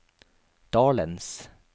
dalens